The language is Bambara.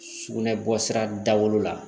Sugunɛ bɔsira dawolo la